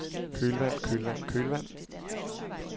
kølvand kølvand kølvand